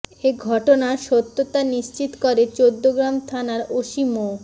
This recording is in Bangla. এ ঘটনার সত্যতা নিশ্চিত করে চৌদ্দগ্রাম থানার ওসি মো